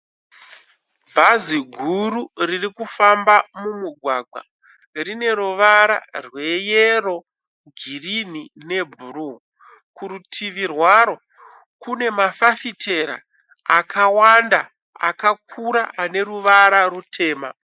Bhazi guru riri kufamba mumugwagwa. Rine ruvara rweyero, girinhi nebhuru. Kurutivi rwaro kune mafafitera akawanda akakura ane ruvara rutema.